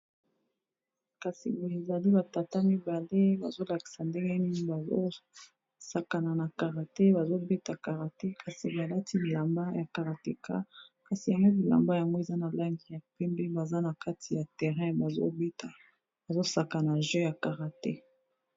kasi bezali batata mibale bazolakisa ndengenini bazosakana na karate bazobeta karate kasi balati bilamba ya karateka kasi yangei bilamba yango eza na lange ya pembe baza na kati ya terrain bazosakana jeu ya karate